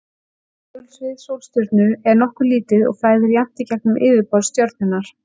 Segulsvið sólstjörnu er nokkuð lítið og flæðir jafnt í gegnum yfirborð stjörnunnar.